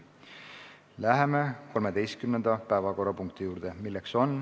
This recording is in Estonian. Läheme 13. päevakorrapunkti juurde.